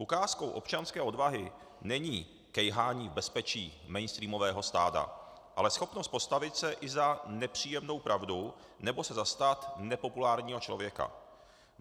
Ukázkou občanské odvahy není kejhání v bezpečí mainstreamového stáda, ale schopnost postavit se i za nepříjemnou pravdou nebo se zastat nepopulárního člověka.